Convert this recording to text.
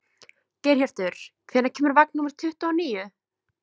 Geirhjörtur, hvenær kemur vagn númer tuttugu og níu?